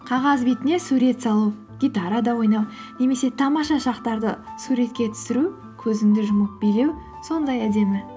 қағаз бетіне сурет салу гитарада ойнау немесе тамаша шақтарды суретке түсіру көзіңді жұмып билеу сондай әдемі